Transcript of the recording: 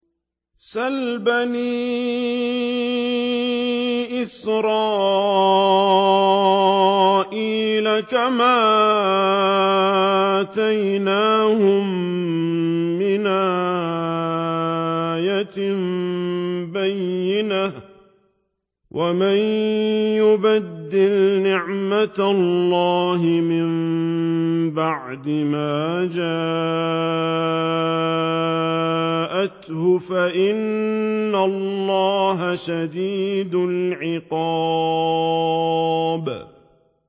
سَلْ بَنِي إِسْرَائِيلَ كَمْ آتَيْنَاهُم مِّنْ آيَةٍ بَيِّنَةٍ ۗ وَمَن يُبَدِّلْ نِعْمَةَ اللَّهِ مِن بَعْدِ مَا جَاءَتْهُ فَإِنَّ اللَّهَ شَدِيدُ الْعِقَابِ